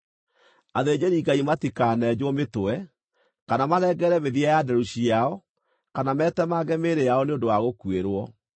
“ ‘Athĩnjĩri-Ngai matikanenjwo mĩtwe, kana marengerere mĩthia ya nderu ciao kana metemange mĩĩrĩ yao nĩ ũndũ wa gũkuĩrwo.